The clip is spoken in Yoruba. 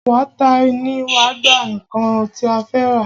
Wáítà tí wá gbà nnkan tí a fẹ́ rà.